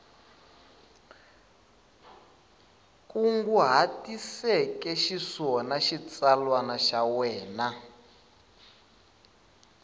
kunguhatiseke xiswona xitsalwana xa wena